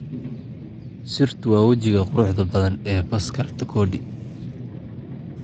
Sirtu waa wajiga quruxda badan ee Pascal Tokodi